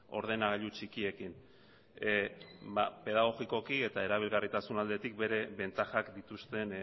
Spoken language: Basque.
ordenagailu txikiekin ba pedagogikoki eta erabilgarritasun aldetik bere bentajak dituzten